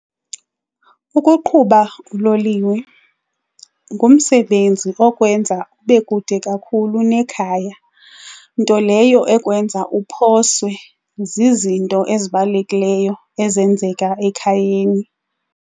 Ukuqhuba uloliwe ngumsebenzi okwenza ube kude kakhulu nekhaya, nto leyo ezokwenza uphoswe zizinto ezibalulekileyo ezenzeka ekhayeni.